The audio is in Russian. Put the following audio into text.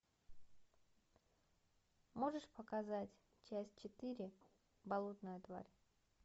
можешь показать часть четыре болотная тварь